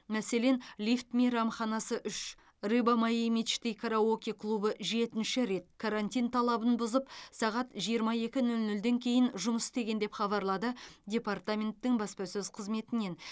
мәселен лифт мейрамханасы үш рыба моей мечты караоке клубы жетінші рет карантин талабын бұзып сағат жиырма екі нөл нөлден кейін жұмыс істеген деп хабарлады департаменттің баспасөз қызметінен